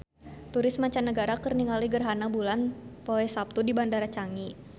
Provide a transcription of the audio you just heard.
Turis mancanagara keur ningali gerhana bulan poe Saptu di Bandara Changi